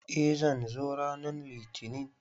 Eh, zan zo ranan litinin.